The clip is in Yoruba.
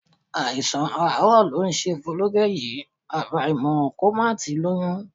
Àìsàn àárọ̀ ló ń ṣe Folúkẹ́ yìí, àfàìmọ̀ kó má ti lóyún